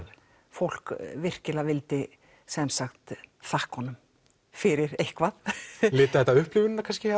fólk virkilega vildi sem sagt þakka honum fyrir eitthvað litaði þetta upplifunina kannski